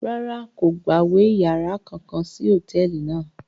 Rárá, kò gbawe yàrá kankan sí hotẹẹli náà